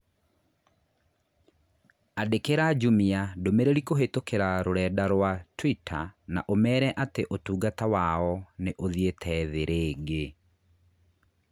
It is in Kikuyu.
Andĩkĩra Jumia ndũmĩrĩri kũhītũkīra rũrenda rũa tũita na ũmeera atĩ ũtungata wao nĩ uthiĩte thĩ rĩngĩ